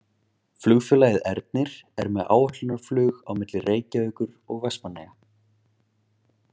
Flugfélagið Ernir er með áætlunarflug á milli Reykjavíkur og Vestmannaeyja.